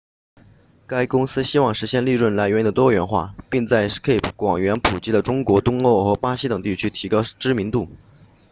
该公司希望实现利润来源的多元化并在 skype 广泛普及的中国东欧和巴西等地区提高知名度